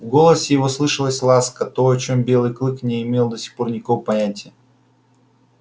в голосе его слышалась ласка то о чем белый клык не имел до сих пор никакого понятия